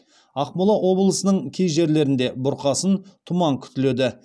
ақмола облысының кей жерлерінде бұрқасын тұман күтіледі